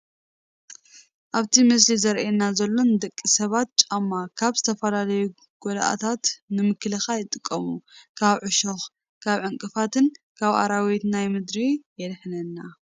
እቲ ኣብቲ ምስሊ ዝራኣየና ዘሎ ንደቂ ሰባት ጫማ ካብ ዝተፈላለዩ ጉድኣታት ንምክልኻል ይጠቅም፡፡ ካብ ዕሾኽ፣ ካብ ዕንቅፋትን ካብ ኣራዊት ናይ ምድርን የድሕነና፡፡